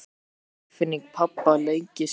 Það er einsog tilfinning pabba leggist yfir mig.